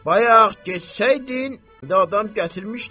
Bayaq getsəydin, adam gətirmişdin.